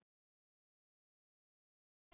Jæja, sagði Konráð.